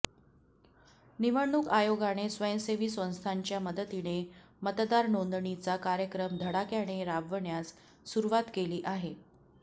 निवडणूक आयोगाने स्वयंसेवी संस्थांच्या मदतीने मतदार नोंदणीचा कार्यक्रम धडाक्याने राबवण्यास सुरुवात केली आहे